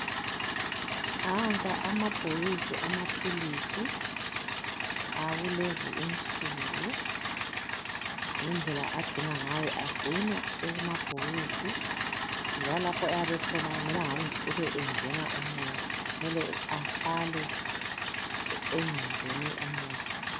Nanka amabhokisi amaphilisi akulezi insuku. Ngendlela agcinwa ngayo. Agcinwa ekumabhokisi, njalo lapho ayabe ekhona akumelanga kube engena umoya, kumele ahlale engangeni umoya.